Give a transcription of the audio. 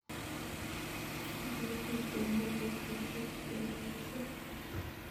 kiribei tutuinik kotko ship kekolso